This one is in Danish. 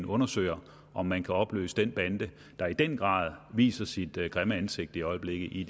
undersøger om man kan opløse den bande der i den grad viser sit grimme ansigt i øjeblikket i